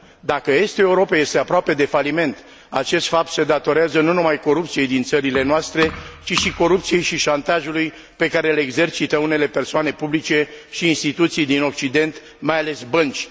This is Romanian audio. Dacă estul Europei este aproape de faliment, acest fapt se datorează nu numai corupției din țările noastre, ci și corupției și șantajului pe care le exercită unele persoane publice și instituții din occident, mai ales bănci.